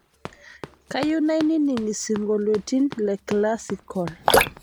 kayieu nainining' isingolioitin le classical